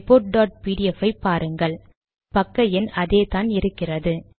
report dot PDF ஐ பாருங்கள் பக்க எண் அதேதான் இருக்கிறது